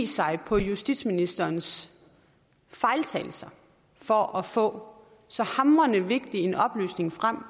sig på justitsministerens fejltagelser for at få så hamrende vigtig en oplysning frem